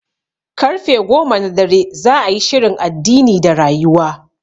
Karfe goma na dare za'a yi shirin addini da rayuwa